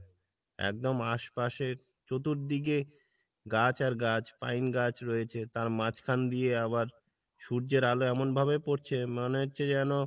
একদম আশপাশে চতুর্দিকে গাছ আর গাছ পাইন গাছ রয়েছে, তার মাঝখান দিয়ে আবার সূর্যের আলো এমন ভাবে পড়ছে মনে হচ্ছে যেন